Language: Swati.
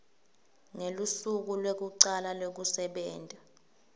ngelusuku lwekucala lwekusebenta